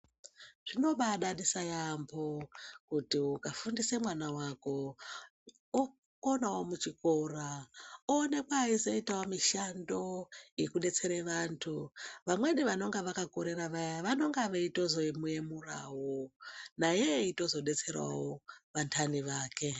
Zvinobadadisa yaambo kuti ukafundise mwana wako okonawo muchikora onekwawo eizoitawo mishando yekudetsera vantu vamweni vanonga vakakorera vaya vanong veitozomuyemurawo naye eitozobetserawo vantani vake.